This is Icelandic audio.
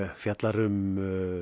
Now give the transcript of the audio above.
fjallar um